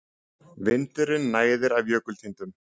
Vindurinn næðir af jökultindum.